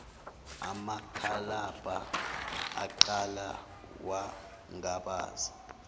umakalabha aqala wangabaza